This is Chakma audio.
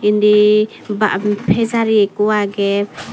indi ba pejari ekkho agey.